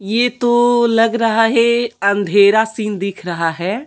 ये तो लग रहा है अंधेरा सीन दिख रहा है।